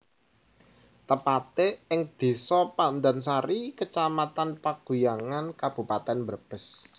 Tepate ing Desa Pandansari Kecamatan Paguyangan Kabupaten Brebes